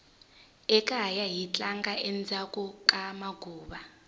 ekaya hi tlanga endzhaku ka maguva